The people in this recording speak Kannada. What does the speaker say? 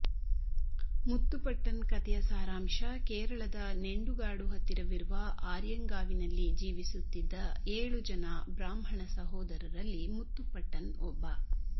ಮುತ್ತುಪಟ್ಟನ್ ಕತೆಯ ಸಾರಾಂಶ ಕೇರಳದ ನೆಂಡುಗಾಡು ಹತ್ತಿರವಿರುವ ಆರ್ಯಂಗಾವಿನಲ್ಲಿ ಜೀವಿಸುತ್ತಿದ್ದ ಏಳು ಜನ ಬ್ರಾಹ್ಮಣ ಸಹೋದರರಲ್ಲಿ ಮುತ್ತುಪಟ್ಟನ್ ಒಬ್ಬ